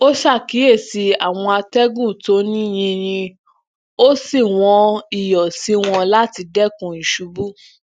ó ṣakiyesí àwọn atẹgun to ni yinyin ó sì wọn iyọ si wọn lati dẹkun iṣubú